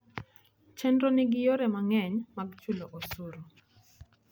Chenrono nigi yore mang'eny mag chulo osuru.